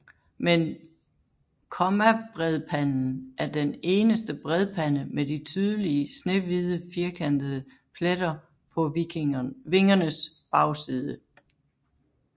Men kommabredpanden er den eneste bredpande med de tydelige snehvide firkantede pletter på vingernes bagside